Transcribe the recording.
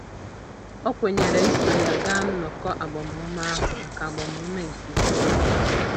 O kwenyere iso ya gaa nnọkọ agbamume ahụ maka agbamume nke ime mmụọ.